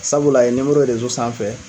Sabula a ye ye sanfɛ.